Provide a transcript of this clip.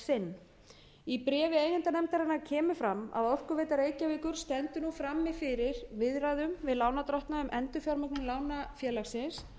sinn í bréfi eigendanefndarinnar kemur fram að orkuveita reykjavíkur stendur nú frammi fyrir viðræðum við lánardrottna um endurfjármögnun lána félagsins